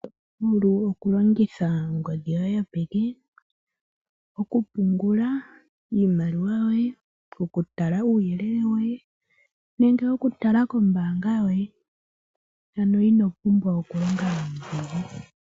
Oto vulu oku longitha ongodhi yoye yopeke, oku pungula iimaliwa yoye, okutala uuyelele woye, nenge oku tala kombanga yoye. Ano ino pumbwa okulonga nuudhigu.